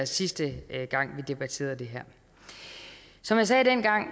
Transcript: sidste gang vi debatterede det her som jeg sagde dengang